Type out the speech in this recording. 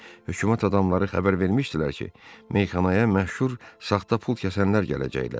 Hökumət adamları xəbər vermişdilər ki, meyxanaya məşhur saxta pul kəsənlər gələcəkdilər.